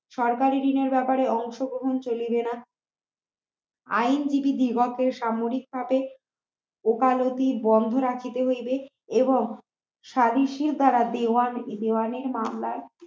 সরকারি বিনিয়োগ ব্যাপারে অংশগ্রহণ চলিবে না আইন বিগত সামরিক হতে ওকালতি বন্ধ রাখিতে হইবে এবং স্বদেশী দ্বারা দেওয়ান দেওয়ানির মামলা